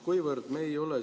Mul on ettepanek.